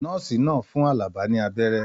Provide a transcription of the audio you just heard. Nọ́ọ́sì náà fún Alaba ní abẹ́rẹ́.